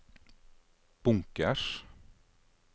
bunkers